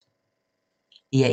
DR1